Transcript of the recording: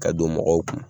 Ka don mɔgɔw kun